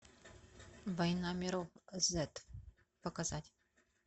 война миров зет показать